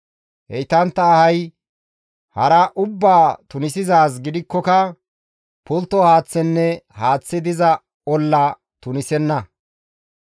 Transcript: Heytantta ahay hara ubbaa tunisizaaz gidikkoka pultto haaththenne haaththi diza olla tunisenna.